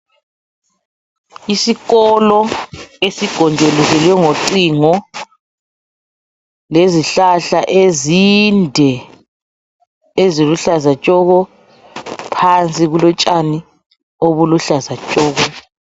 Isikolo esigonjolozelwe ngocingo lezihlahla ezinde eziluhlaza tshoko. Phansi kulotshani obuluhlaza tshoko.